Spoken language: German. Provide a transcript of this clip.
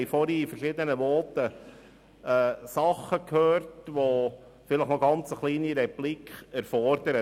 Wir haben in den vorangegangenen Voten Dinge gehört, die eine kurze Replik erfordern.